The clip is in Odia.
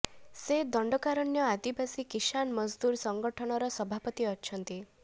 ସେ ଦଣ୍ଡକାରଣ୍ୟ ଆଦିବାସୀ କିଷାନ ମଜଦୁର ସଂଗଠନର ସଭାପତି ଅଛନ୍ତି